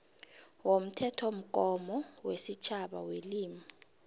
womthethomgomo wesitjhaba welimi